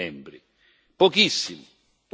Cosa stanno facendo gli Stati membri?